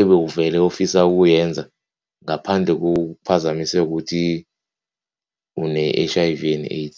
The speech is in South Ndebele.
ebewuvele ufisa ukuyenza ngaphandle kokuphazamiseka ukuthi une-H_I_V and AIDS.